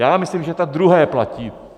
Já myslím, že to druhé platí.